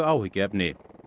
áhyggjuefni